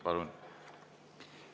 Palun!